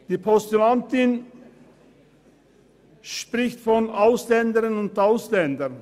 Die Postulantin spricht von Ausländerinnen und Ausländern.